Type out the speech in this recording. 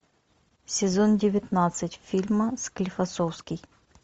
сезон девятнадцать фильма склифосовский